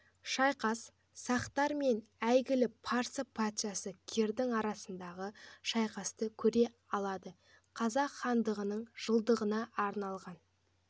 шайқас сақтар мен әйгілі парсы патшасы кирдің арасындағы шайқасты көре алады қазақ хандығының жылдығына арналған